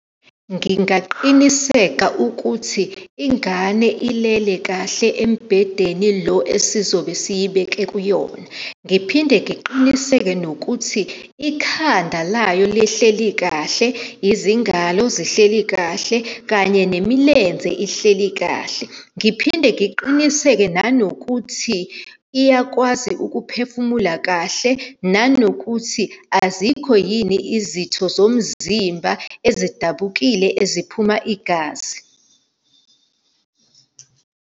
Ngingaqiniseka ukuthi ingane ilele kahle embhedeni lo esizobe siyibeke kuyona. Ngiphinde ngiqiniseke nokuthi ikhanda layo lihleli kahle, izingalo zihleli kahle, kanye nemilenze ihleli kahle. Ngiphinde ngiqiniseke nanokuthi iyakwazi ukuphefumula kahle, nanokuthi azikho yini izitho zomzimba ezidabukile, eziphuma igazi.